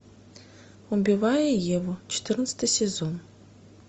убивая еву четырнадцатый сезон